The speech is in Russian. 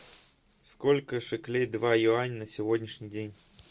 сколько шекелей два юаня на сегодняшний день